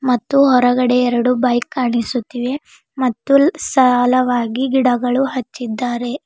ಮತ್ತು ಹೊರಗಡೆ ಎರಡು ಬೈಕ್ ಕಾಣಿಸುತ್ತಿವೆ ಮತ್ತು ಸಾಲಾವಾಗಿ ಗಿಡಗಳು ಹಚ್ಚಿದ್ದಾರೆ.